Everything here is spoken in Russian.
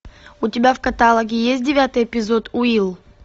у тебя в каталоге есть девятый эпизод уилл